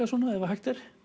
svona ef hægt er